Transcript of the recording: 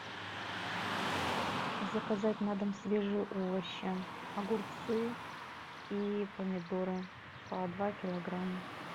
заказать на дом свежие овощи огурцы и помидоры по два килограмма